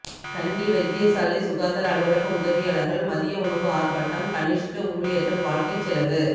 கண்டி வைத்தியசாலை சுகாதார அலுவலக உதவியாளர்கள் மதிய உணவு ஆர்ப்பாட்டம் கனிஷ்ட ஊழியர்கள் வாழ்க்கைச் செலவு